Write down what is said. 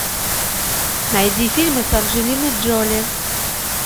найди фильмы с анджелиной джоли